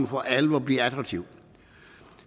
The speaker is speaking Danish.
for alvor bliver attraktive